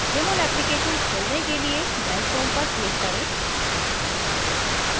jmol application खोलने के लिए dash home पर click करें